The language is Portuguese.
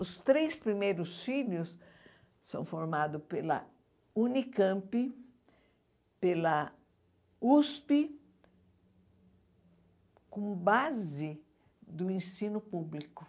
Os três primeiros filhos são formados pela Unicamp, pela USP, com base do ensino público.